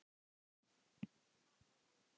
Harpa og Helga.